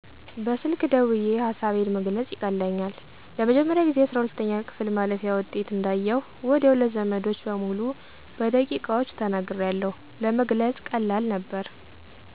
በስልክ ደውየ ሀሳቤን መግለፅ ይቀለኛል። ለመጀመሪያ ጊዜ 12ኛ ክፍል ማለፊያ ውጤት እንዳየሁ ወዲያው ለዘመዶቸ በሙሉ በደቂቃዎች ተናግሪያለሁ። ለመግለፅ ቀላል ነበር።